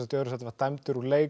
öðru sæti var dæmdur úr leik